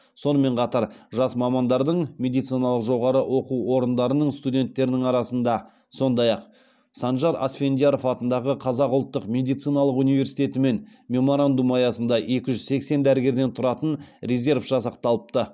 сонымен қатар жас мамандардың медициналық жоғары оқу орындарының студенттерінің арасында сондай ақ санжар асфендияров атындағы қазақ ұлттық медициналық университетімен меморандум аясында екі жүз сексен дәрігерден тұратын резерв жасақталыпты